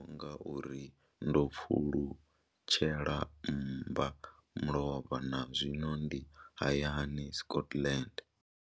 Ndi amba ngauralo nga uri ndo pfulutshela mmbamulovha na zwino ndi hayani, Scotland.